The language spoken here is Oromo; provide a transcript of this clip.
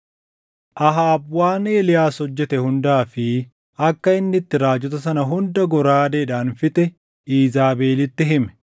Ahaab waan Eeliyaas hojjete hundaa fi akka inni itti raajota sana hunda goraadeedhaan fixe Iizaabelitti hime.